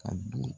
Ka don